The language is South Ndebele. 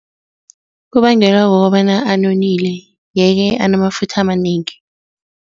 Kubangelwa kukobana anonile yeke, anafutha amanengi.